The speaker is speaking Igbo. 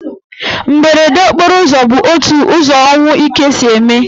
Mberede okporo ụzọ bụ otu ụzọ ọnwụ ike si eme.